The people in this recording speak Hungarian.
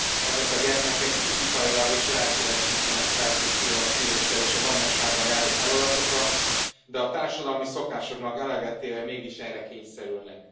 Ezek a gyermekek fizikailag és lelkileg sincsenek felkészülve a szüléssel és az anyasággal járó feladatokra, de a társadalmi szokásoknak eleget téve mégis erre kényszerülnek.